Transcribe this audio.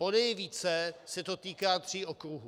Ponejvíce se to týká tří okruhů.